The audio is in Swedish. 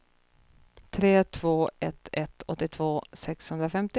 tre två ett ett åttiotvå sexhundrafemtio